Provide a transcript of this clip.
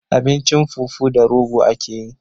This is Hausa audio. Abincin fufu da rogo akeyi